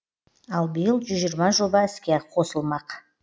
ал биыл жүз жиырма жоба іске қосылмақ